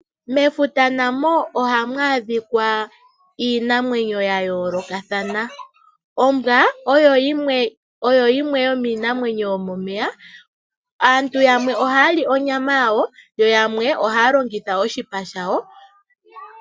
Mefuta namo ohamu adhika iinamwenyo ya yoolokathana. Ombwa oyo yimwe yomiinamwenyo yomomeya. Aantu yamwe ohaya li onyama yayo yo yamwe ohaya longitha oshipa shayo.